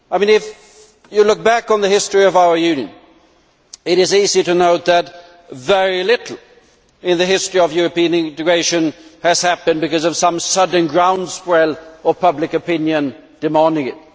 If you look back on the history of our Union, it is easy to note that very little in the history of European integration has happened because of some sudden groundswell of public opinion demanding it.